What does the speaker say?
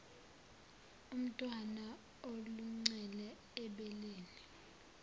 umntwana aluncele ebeleni